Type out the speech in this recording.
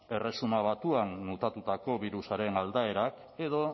erresuma batuan mutatutako birusaren aldaerak edo